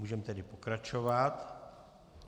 Můžeme tedy pokračovat.